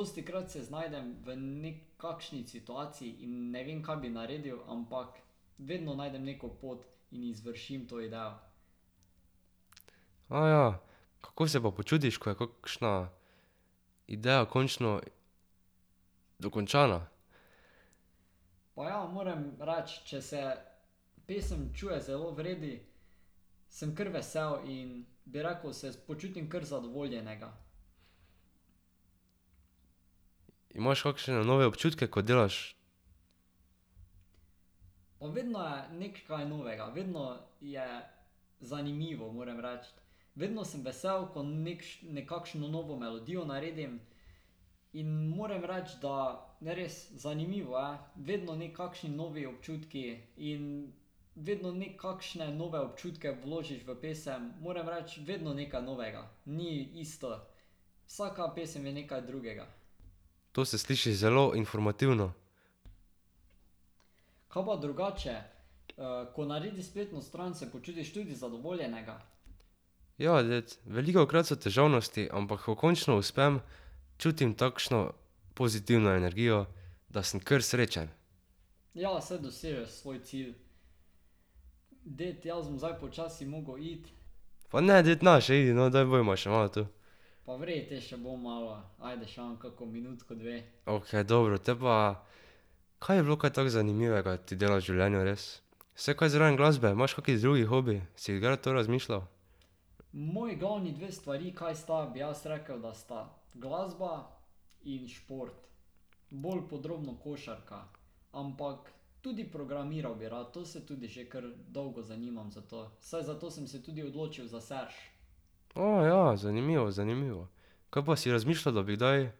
vztrajati. ja. Kako se pa počutiš, ko je šna idejo končno dokončana? Imaš kakšne nove občutke, ko delaš? To se sliši zelo informativno. Ja, ded. Velikokrat so težavnosti, ampak ko končno uspem, čutim takšno pozitivno energijo, da sem kar srečen. Pa ne ded, ne še pojdi, no, daj bodiva še malo tu. Okej, dobro, te pa. Kaj je bilo kaj tako zanimivega ti delati v življenju res? Se kaj zraven glasbe, imaš kak drug hobi? Si gra to razmišljal? ja, zanimivo, zanimivo. Kaj pa si razmišljal, da bi kdaj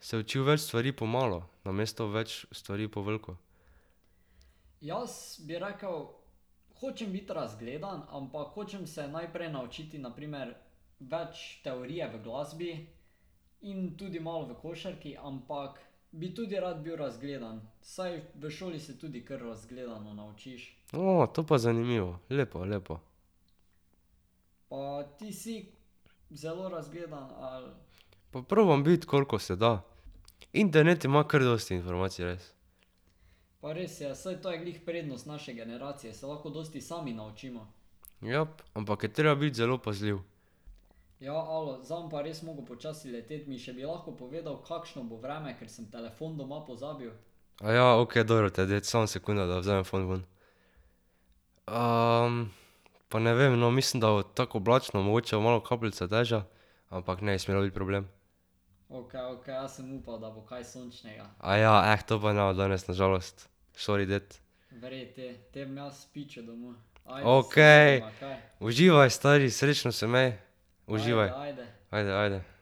se učil več stvari po malo? Namesto več stvari po veliko. to pa zanimivo, lepo, lepo. Pa probam biti, koliko se da. Internet ima kar dosti informacij, res. Jap, ampak je treba biti zelo pazljiv. Aja, okej, dobro te, ded, samo sekunda da vzamem fon vun. Pa ne vem, no, mislim, da bo tako oblačno, mogoče bo malo kapljice dežja. Ampak ne bi smelo biti problem. Aja, to pa ne bo danes na žalost, sori, ded. Okej! Uživaj, stari, srečno se imej! Uživaj. Ajde, ajde.